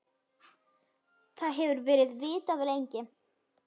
Það hefur verið vitað lengi.